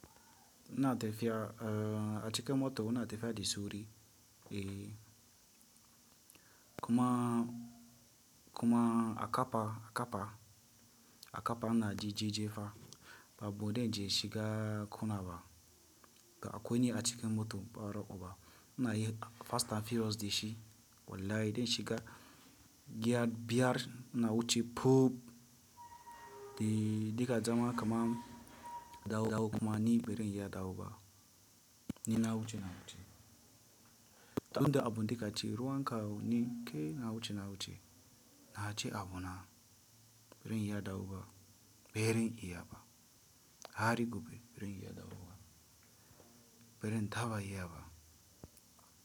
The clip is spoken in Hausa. Na tafiya, eh, a cikin mota una tafiya da sauri eh, kuma, kuma a kapa, a kapa, a kapa na ji jije fa, babu dai inje shiga ƙuna ba, ga akwai ni a cikin mota baraƙu ba. Ina yin fast and furious da shi, wallahi dan shiga giya biyar na wuce poop! Eh ya diga zama kaman dawu dawu kuma ni barin iya dawoba, ni na wuce, na wuce. Don da abun indinga ce ruwan kawu ne kai na wuce, na wuce. Da a ce abuna bari in yi daukawa, berin iya ba. Hary gobe barin iya daukawa ba, berin taba iyaba.